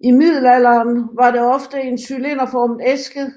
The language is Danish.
I middelalderen var det ofte en cylinderformet æske